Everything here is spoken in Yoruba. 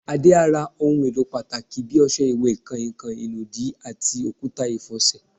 Adé á ra ohun èlò pàtàkì bí i o̩s̩e̩ ìwè̩, kàìnkàìn, ìnùdí, àti òkúta ìfo̩sè̩.